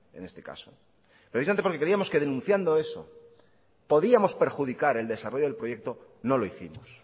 en este caso precisamente porque creíamos que denunciando eso podíamos perjudicar el desarrollo del proyecto no lo hicimos